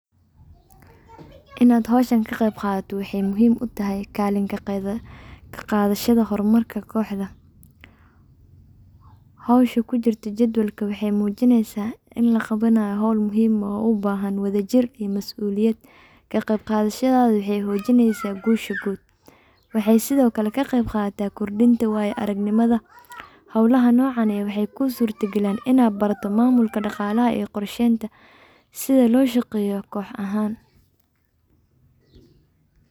Inaad howshan ka qeyb qaadato waxay muhiim u tahay kalin ka qeybqadashada hormarka kooxda. Howsha kujirta jadwalka waxey muujineysa in laqabanayo howl muhiim ah oo u bahan wadajir iyo masu'liyad. Ka qeybqaadashadada waxey xoojineysa guusha guud. Waxey sidokale ka qeyb qaadata kordhinta waaya aragnimada. Howlaha noocan waxey ku surta galan inaad barato maamulka dhaqalaha iyo qorshaynta sida looshaqeeya koox ahaan.